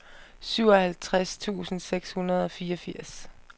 syvoghalvtreds tusind seks hundrede og fireogfirs